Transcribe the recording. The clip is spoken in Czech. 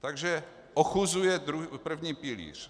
Takže ochuzuje první pilíř.